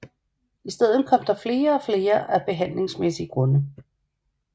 I stedet kom der flere og flere af behandlingsmæssige grunde